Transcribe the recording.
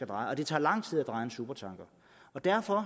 dreje og det tager lang tid at dreje en supertanker derfor